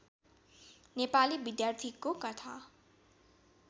नेपाली विद्यार्थीको कथा